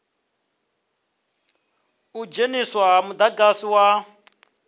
u dzheniswa ha mudagasi wa